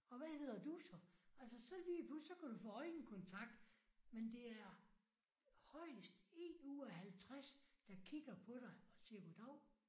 Og hvad hedder du så? Altså så lige pludselig så kan du få øjenkontakt men det er højest 1 ud af 50 der kigger på dig og siger goddav